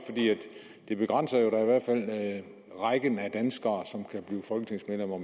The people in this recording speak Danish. i begrænser rækken af danskere som kan blive folketingsmedlemmer